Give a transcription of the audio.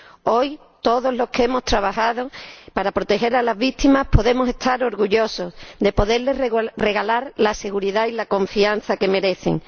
Hoy, todos los que hemos trabajado para proteger a las víctimas podemos estar orgullosos de poderles regalar la seguridad y la confianza que merecen.